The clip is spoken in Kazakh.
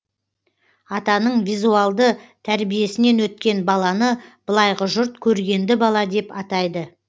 атаның визуалды тәрбиесінен өткен баланы былайғы жұрт көргенді бала деп атайды